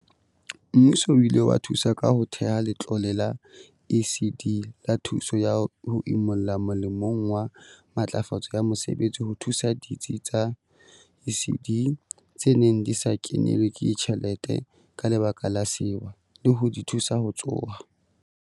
Mmuso o ile wa thusa ka ho theha Letlole la ECD la Thuso ya ho Imolla molemong wa Matlafatso ya Mosebetsi ho thusa ditsi tsa ECD tse neng di sa kenelwe ke tjhelete ka lebaka la sewa, le ho di thusa ho tsoha.